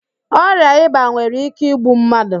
Ọrịa ịba nwere íké igbu mmadụ.